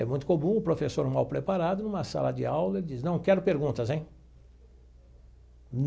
É muito comum o professor mal preparado, numa sala de aula, ele diz, não quero perguntas, hein?